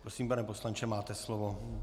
Prosím, pane poslanče, máte slovo.